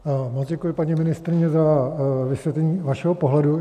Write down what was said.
Moc děkuji, paní ministryně, za vysvětlení vašeho pohledu.